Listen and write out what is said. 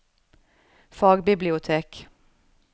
fagbibliotek